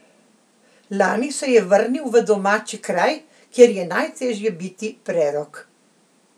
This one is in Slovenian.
Lani se je vrnil v domači kraj, kjer je najtežje biti prerok.